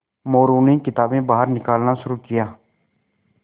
मोरू ने किताबें बाहर निकालना शुरू किया